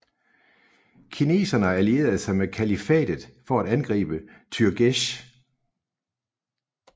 Kineserne allierede sig med kalifatet for at angribe türgesh